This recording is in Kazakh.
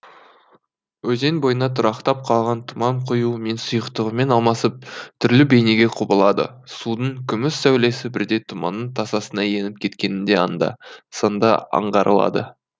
өзен бойына тұрақтап қалған тұман қоюы мен сұйықтығымен алмасып түрлі бейнеге құбылады судың күміс сәулесі бірде тұманның тасасына еніп кеткені де анда санда аңғарылады